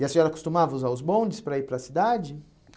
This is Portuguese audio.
E a senhora costumava usar os bondes para ir para a cidade?